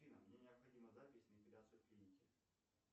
афина мне необходима запись на эпиляцию в клинике